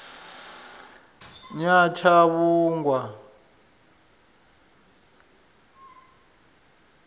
nyatshavhungwa